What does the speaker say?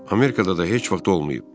Amerikada da heç vaxt olmayıb.